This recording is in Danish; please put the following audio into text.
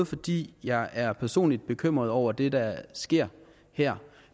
fordi jeg er personligt bekymret over det der sker her